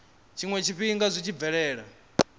tshiwe tshifhinga zwi tshi bvelela